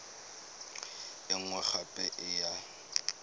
e nngwe gape e ya